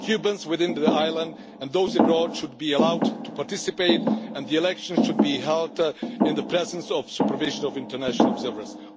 Cubans within the island and those abroad should be allowed to participate and the elections should be held in the presence of supervision of international observers.